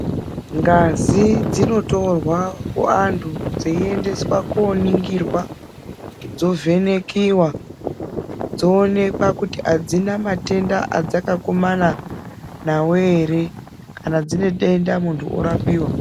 Ngazi dzinotorwa kuantu dzeiendaswa koningirwa dzovhenekiwa dzoonekiwa kuti adzina matenda adzakakumana nawo ere kana dzine denda munhu orapiwa.